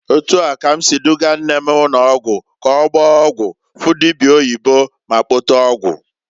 Etu a ka m si dugaa nne m ụnọgwụ ka ọgbaa ọgwụ, fụ dibia oyibo ma kpote ọgwụ.